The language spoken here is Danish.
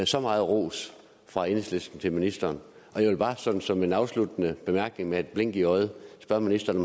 så meget ros fra enhedslisten til ministeren jeg vil bare sådan som en afsluttende bemærkning med et blink i øjet spørge ministeren